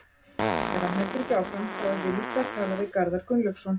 Ef hann heldur ekki áfram, þá eruði líka að tala við Garðar Gunnlaugsson?